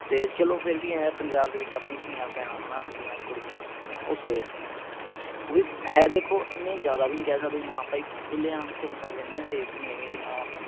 ਤੇ ਫੇਰ ਵੀ ਚਲੋ ਆਏਂ ਹੈ ਪੰਜਾਬ ਵੀ ਆਪਣੀ ਧੀਆਂ ਭੈਣਾਂ ਹਣਾ ਆਪਣੀਆਂ ਕੁੜੀਆਂ ਉਹ safe ਨੇ ਉਹ ਵੀ ਹੈ ਦੇਖੋ ਇੰਨੇ ਜਿਆਦਾ ਵੀ ਨਹੀਂ ਕਹਿ ਸਕਦੇ ਵੀ ਹਾਂ ਭਾਈ ਖੁਲੇਆਮ ਘੁੰਮ ਸਕਦੀਆਂ ਇੰਨੀਆਂ safe ਵੀ ਨਹੀਂ ਹੈਗੀਆਂ ਵੀ ਹਾਂ